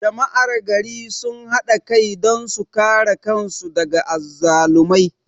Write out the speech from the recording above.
Jama'ar gari sun hada kai don su kare kan su daga azzalumai